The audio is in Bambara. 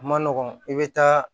A ma nɔgɔn i bɛ taa